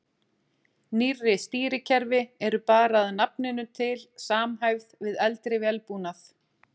Nýrri stýrikerfi eru bara að nafninu til samhæfð við eldri vélbúnað.